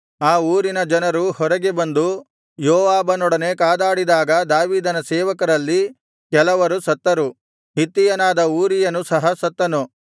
ಆ ಊರಿನ ಜನರು ಹೊರಗೆ ಬಂದು ಯೋವಾಬನೊಡನೆ ಕಾದಾಡಿದಾಗ ದಾವೀದನ ಸೇವಕರಲ್ಲಿ ಕೆಲವರು ಸತ್ತರು ಹಿತ್ತಿಯನಾದ ಊರೀಯನೂ ಸಹ ಸತ್ತನು